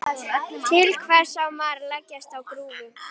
Til hvers á maður að leggjast á grúfu?